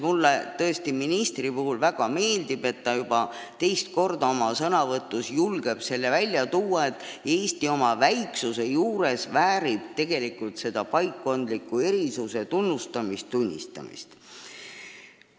Mulle tõesti väga meeldib, et minister juba teist korda oma sõnavõtus julgeb välja tuua, et Eesti väärib ka oma väiksuse juures tegelikult paikkondlike erisuste tunnistamist ja tunnustamist.